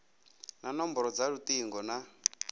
na nomboro dza lutingo na